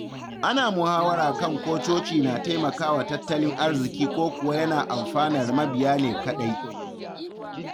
Ana muhawara kan ko coci na taimakawa tattalin arziki ko kuwa yana amfanar mabiya ne kaɗai.